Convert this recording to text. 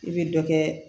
I bɛ dɔ kɛ